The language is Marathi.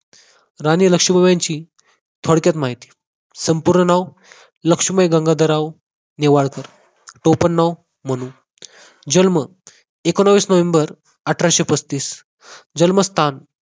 राणी लक्ष्मीबाई यांची थोडक्यात माहिती संपूर्ण नाव लक्ष्मीबाई गंगाधरराव नेवाळकर टोपण नाव मनू जन्म एकोणविस नोव्हेंबर अठराशे पस्तीस जन्मस्थान